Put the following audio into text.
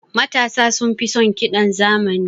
Matasa sunfi son ƙidan zamani.